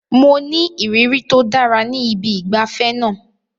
Mo ní ìrírí tó dára ní ibi ìgbafẹ́ náà.